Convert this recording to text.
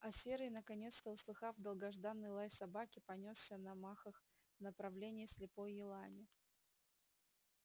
а серый наконец-то услыхав долгожданный лай собаки понёсся на махах в направлении слепой елани